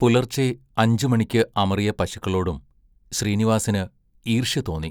പുലർച്ചെ അഞ്ചുമണിക്ക് അമറിയ പശുക്കളോടും ശ്രീനിവാസിന് ഈർഷ്യ തോന്നി.